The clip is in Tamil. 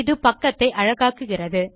இது பக்கத்தை அழகாக்குகிறது